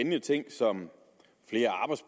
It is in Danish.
de ting som